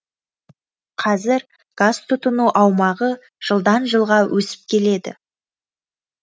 қазір газ тұтыну аумағы жылдан жылға өсіп келеді